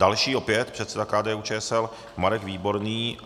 Další opět předseda KDU-ČSL Marek Výborný.